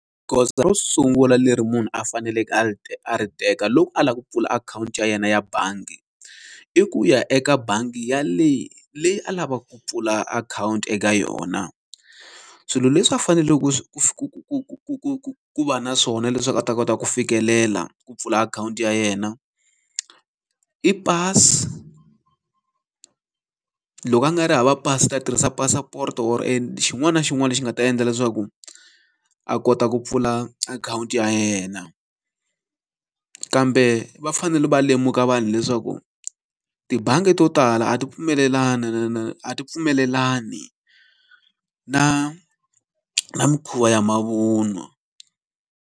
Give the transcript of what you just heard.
Goza ro sungula leri munhu a faneleke a ti a ri teka loko a lava ku pfula akhawunti ya yena ya bangi, i ku ya eka bangi yaleyi leyi a lavaka ku pfula akhawunti eka yona. Swilo leswi a faneleke ku ku ku ku ku ku ku ku ku ku va na swona leswaku a ta kota ku fikelela ku pfula akhawunti ya yena i pasi loko a nga ri hava pasi i ta tirhisa passport or xin'wana na xin'wana lexi nga ta endla leswaku a kota ku pfula akhawunti ya yena. Kambe va fanele va lemuka vanhu leswaku tibangi to tala a ti a ti pfumelelani na na mikhuva ya mavun'wa.